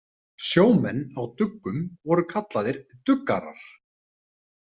Sjómenn á duggum voru kallaðir „duggarar“.